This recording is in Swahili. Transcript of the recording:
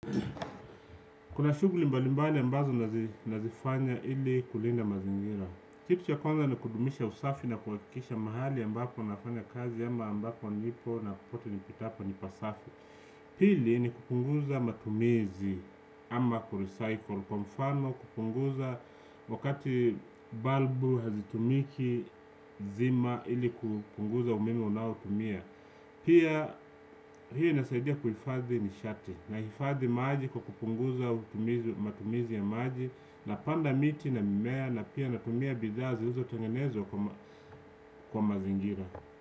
Kuna shughuli mbali mbali ambazo nazifanya ili kulinda mazingira. Kitu cha kwanza ni kudumisha usafi na kuhakikisha mahali ambako nafanya kazi ama ambako nipo na popote nipitapo ni pasafi. Pili ni kupunguza matumizi ama kurecycle. Kwa mfano kupunguza wakati balbu hazitumiki zima ili kupunguza umeme unaotumia. Pia hii inasaidia kuhifadhi nishati nahifadi maji kwa kupunguza matumizi ya maji. Napanda miti na mimea na pia natumia bidhaa zilizo tengenezwa kwa mazingira.